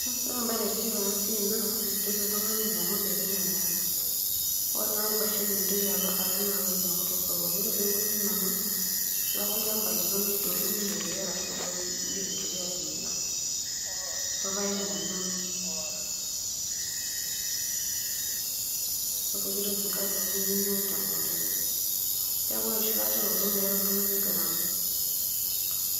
Ore embae naitiship enasiai naa mintoki oltung'ani ainyang'u ndakini emokonda, ore naa nkwashen mintoki naa alo ainyang'u tosokoni, ore peoku ninonok nilo ake olchamba lino nidotu niyeriyere arashu indim aitoki atimira opooki toki niyieu niun temukunda neaku ore enoshi kata eoto meeta oltung'ani gharama.